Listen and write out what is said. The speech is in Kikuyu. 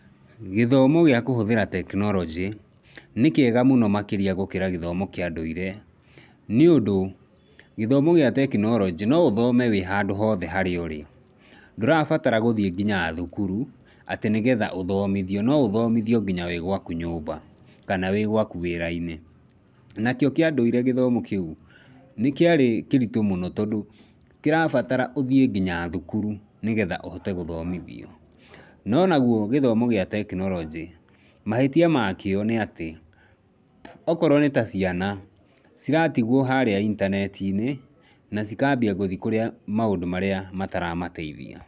Gĩthomo gĩa kũhũthĩra tekinoronjĩ, nĩ kĩega mũno makĩria gũkĩra gĩthomo kĩa ndũire, nĩũndũ, gĩthomo gĩa tekinoronjĩ no ũthome wĩ handũ hothe harĩa ũrĩ. Ndũrabatara gũthiĩ nginya thukuru, atĩ nĩgetha ũthomithio, no ũthomithio nginya wĩ gwaku nyũmba, kana wĩ gwaku wĩra-inĩ. Nakĩo kĩa ndũire gĩthomo kĩu, nĩ kĩarĩ kĩritũ mũno tondũ, kĩrabatara ũthiĩ nginya thukuru, nĩgetha ũhote gũthomithio. No naguo gĩthomo gĩa tekinoronjĩ, mahĩtia makĩo nĩatĩ, okorũo nĩta ciana, ciratigũo harĩa intaneti-inĩ, na cikambia gũthiĩ kũrĩa maũndũ marĩa mataramateithia.